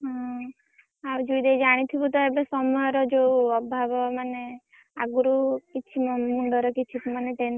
ହୁଁ ଆଉ ଯଉ ଜାଣିଥିବୁ ତ ସମୟର ଯଉ ଅଭାବ ମାନେ ଆଗରୁ କିଛି ମୋ ମୁଣ୍ଡରେbr କିଛି ମାନେ tension ନ ଥିଲା ଛୋଟ